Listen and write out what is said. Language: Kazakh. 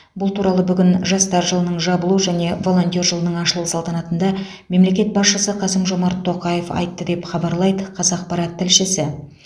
бұл туралы бүгін жастар жылының жабылу және волонтер жылының ашылу салтанатында мемлекет басшысы қасым жомарт тоқаев айтты деп хабарлайды қазақпарат тілшісі